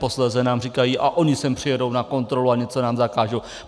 Posléze nám říkají: a oni sem přijedou na kontrolu a něco nám zakážou.